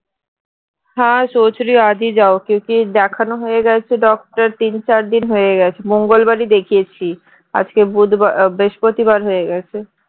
দেখানো হয়ে গেছে doctor তিন চার দিন হয়ে গেছে মঙ্গলবার দিন দেখিয়েছি আজকে বুধবার বৃহস্পতিবার হয়ে গেছে